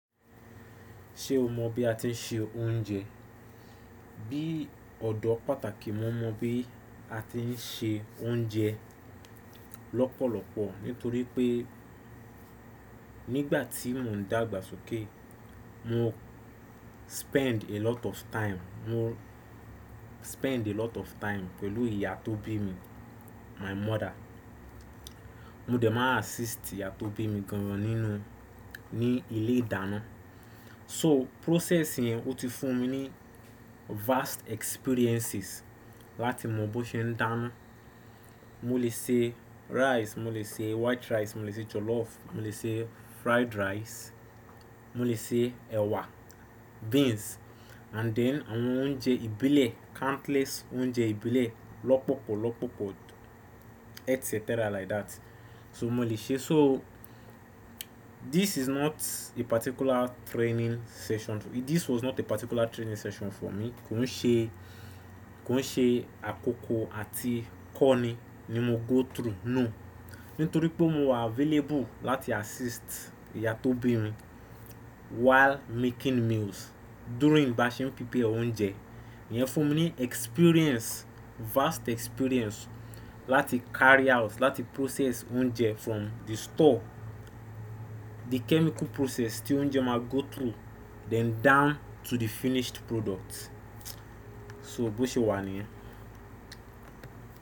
Ṣe o mọ bí a ti ń ṣe oúnjẹ? Bí ọdọ pàtàkì, mo mọ bí a ti ń ṣe oúnjẹ lọpọlọpọ nítorí pé nígbàtí mo ń dàgbàsókè, mo spend a lot of time, mo spend a lot of time pẹ̀lú ìyá tó bí mi, my mother. Mo dẹ̀ ma assist ìyá tó bí mi gan ní inú, ní ilé ìdáná. So process yẹn ó tí fún mi ní vast experiences láti mọ bó ṣe ń dànù. Mo lè sè rice, mo lè sè white rice, mo lè sè jollof, mo lè sè fried rice, mo lè sè ẹwà, beans and then àwọn oúnjẹ ìbílẹ̀, countless oúnjẹ ìbílẹ̀ lọpọlọpọ, etcetera like that. So mo lè ṣe so this is not a particular training session, this was not a particular training session for me. Ko ń ṣe àkókò àti kọ́ni ni mo go through no nitori pé mo wà available láti assist ìyá tó bí mi while making meals during bá ṣe ń pipe oúnjẹ. Ìyẹn fún mi ní experience vast experience láti carry out láti process oúnjẹ from the store the chemical process tí oúnjẹ ma go through then down to the finish product. So bó ṣe wà ni yẹn.